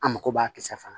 An mako b'a kisɛ fana